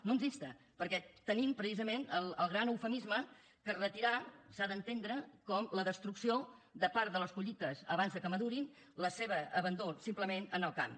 no ens insta perquè tenim precisament el gran eufemisme que retirar s’ha d’entendre com la destrucció de part de les collites abans que madurin el seu abandó simplement en el camp